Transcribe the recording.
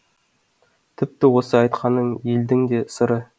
тіпті осы айтқаным елдің де сыры